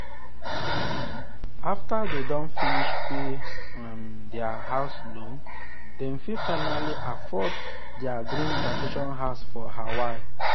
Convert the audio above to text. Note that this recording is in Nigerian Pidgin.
after dem don finish pay um their house loan dem fit finally afford their dream vacation house for hawaii.